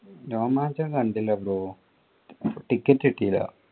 രോമാഞ്ചം കണ്ടില്ല ticket കിട്ടില്ല.